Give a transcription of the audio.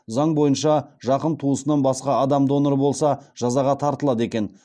заң бойынша жақын туысынан басқа адам донор болса жазаға тартылады екен